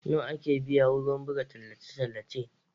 Nawa ake biya kudin buga tallace-tallace